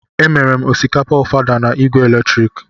Emere m osikapa ofada na igwe eletrik.